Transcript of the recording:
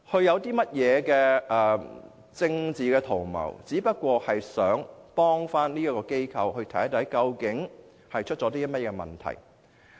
我們沒有政治圖謀，只是希望幫助這間機構，看看出現甚麼問題。